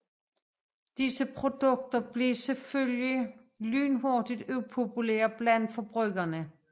Disse produkter blev selvfølgelig lynhurtigt upopulære bland forbrugere